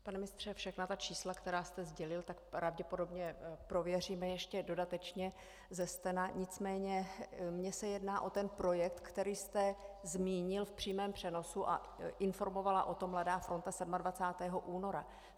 Pane ministře, všechna ta čísla, která jste sdělil, tak pravděpodobně prověříme ještě dodatečně ze stena, nicméně mně se jedná o ten projekt, který jste zmínil v přímém přenosu a informovala o tom Mladá fronta 27. února.